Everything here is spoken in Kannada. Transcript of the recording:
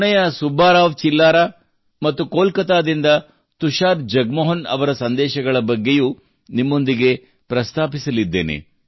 ಪುಣೆಯ ಸುಬ್ಬರಾವ್ ಚಿಲ್ಲಾರಾ ಅವರು ಮತ್ತು ಕೋಲ್ಕತ್ತಾದಿಂದ ತುಷಾರ್ ಜಗಮೋಹನ್ ಅವರ ಸಂದೇಶಗಳ ಬಗ್ಗೆಯೂ ನಿಮ್ಮೊಂದಿಗೆ ಪ್ರಸ್ತಾಪಿಸಲಿದ್ದೇನೆ